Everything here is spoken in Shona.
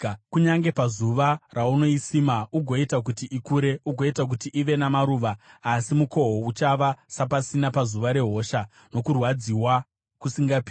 kunyange pazuva raunoisima, ugoita kuti ikure, ugoita kuti ive namaruva, asi mukohwo uchava sapasina pazuva rehosha nokurwadziwa kusingarapiki.